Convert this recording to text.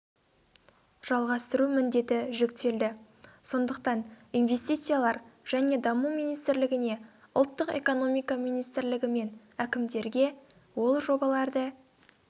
жалғастыру міндеті жүктелді сондықтан инвестициялар және даму министрлігіне ұлттық экономика министрлігі мен әкімдерге ол жобаларды